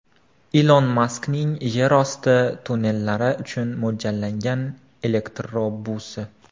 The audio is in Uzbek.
Ilon Maskning yerosti tonnellari uchun mo‘ljallangan elektrobusi.